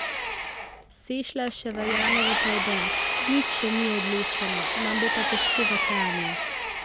Sešlar še verjame v preobrat: "Nič še ni odločeno, nam bo pa težko v Kranju.